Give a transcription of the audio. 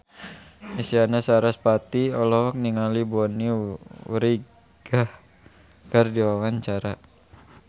Isyana Sarasvati olohok ningali Bonnie Wright keur diwawancara